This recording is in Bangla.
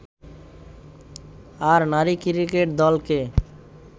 আর নারী ক্রিকেট দলকে